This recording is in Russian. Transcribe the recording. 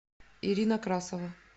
ирина красова